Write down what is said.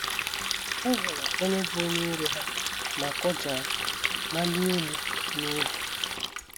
Ha hụrụ onye bụ́ onye iro ha ma kụja, malie elu n’egwu.